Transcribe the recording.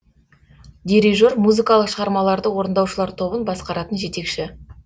дирижер музыкалық шығармаларды орындаушылар тобын басқаратын жетекші